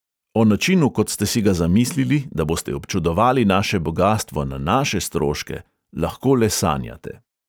O načinu, kot ste si ga zamislili, da boste občudovali naše bogastvo na naše stroške, lahko le sanjate.